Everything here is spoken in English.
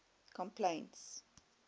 complaints